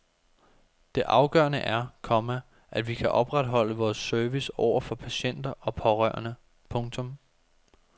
Det afgørende er, komma at vi kan opretholde vores service over for patienter og pårørende. punktum